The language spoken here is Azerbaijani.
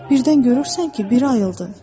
Birdən görürsən ki, biri oyandı.